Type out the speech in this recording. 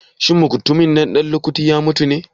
Shin mutumin nan ɗan lukuti ya mutu ne?